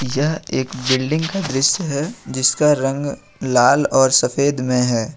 यह एक बिल्डिंग का दृश्य है जिसका रंग लाल और सफेद में है।